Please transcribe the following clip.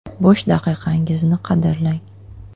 Bo‘sh daqiqalaringizni qadrlang!